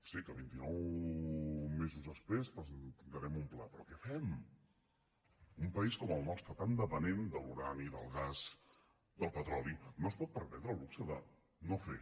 sé que vintinou mesos després presentarem un pla però què fem un país com el nostre tan depenent de l’urani del gas del petroli no es pot permetre el luxe de no fer